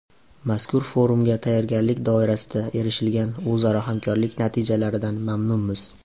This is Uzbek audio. Mazkur forumga tayyorgarlik doirasida erishilgan o‘zaro hamkorlik natijalaridan mamnunmiz.